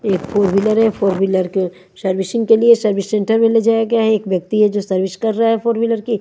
एक फॉरविलर है फॉरविलर के सर्विसिंग के लिए सुर्विस सेण्टर में ले जाया गया है एक यक्ति है जो सुर्विस कर रा है फॉरविलर की--